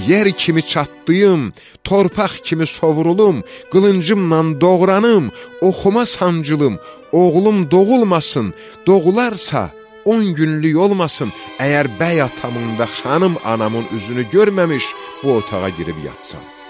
yer kimi çartlayım, torpaq kimi sovrulum, qılıncımla doğranım, oxuma sancılım, oğlum doğulmasın, doğularsa, on günlük olmasın, əgər bəy atamın və xanım anamın üzünü görməmiş bu otağa girib yatsan.